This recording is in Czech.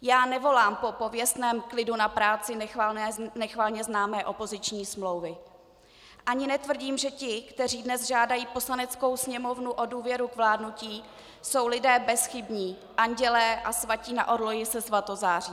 Já nevolám po pověstném klidu na práci nechvalně známé opoziční smlouvy ani netvrdím, že ti, kteří dnes žádají Poslaneckou sněmovnu o důvěru k vládnutí, jsou lidé bezchybní, andělé a svatí na orloji se svatozáří.